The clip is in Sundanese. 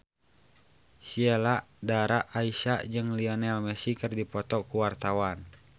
Sheila Dara Aisha jeung Lionel Messi keur dipoto ku wartawan